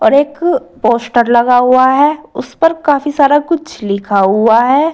एक पोस्टर लगा हुआ है उस पर काफी सारा कुछ लिखा हुआ है।